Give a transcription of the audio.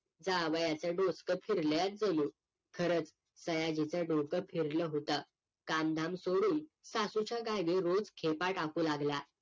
जावयाचं डोस्क फिरलयाच जणू खरंच सयाजीचं डोकं फिरलं होतं कामधाम सोडून सासूच्या गावी रोज खेपा टाकू लागला